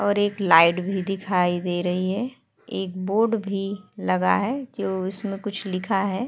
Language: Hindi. और एक लाइट भी दिखाई दे रही है। एक बोर्ड भी लगा है जो उसमें कुछ लिखा है।